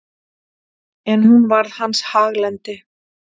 En hún varð hans haglendi.